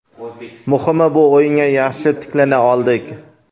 Muhimi bu o‘yinga yaxshi tiklana oldik.